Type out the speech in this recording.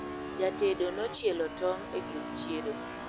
jatedo nochielo tong' e gir chiedo